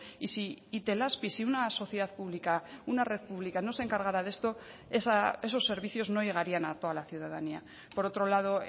y si itelazpi si una sociedad pública una red pública no se encargara de esto esos servicios no llegarían a toda la ciudadanía por otro lado